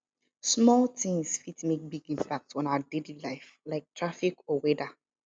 small tings fit make big impact on our daily life like traffic or weather